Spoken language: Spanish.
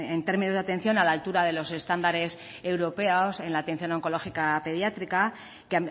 en términos de atención a la altura de los estándares europeos en la atención oncológica pediátrica que